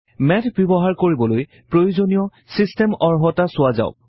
math ব্যৱহাৰ কৰিবলৈ প্ৰয়োজনীয় ছিষ্টেম অৰ্হতা চোৱাঁ যাওঁক